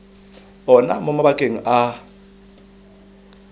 ona mo mabakeng a a